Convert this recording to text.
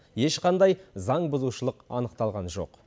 ешқандай заңбұзушылық анықталған жоқ